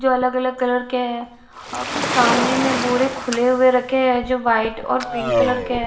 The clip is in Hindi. जो अलग अलग कलर के हैं और कुछ सामने में बोरे खुले हुए रखे हैं जो वाइट और पिंक कलर के--